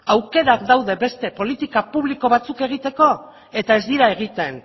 aukerak daude beste politika publiko batzuk egiteko eta ez dira egiten